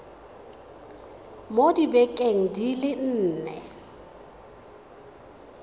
mo dibekeng di le nne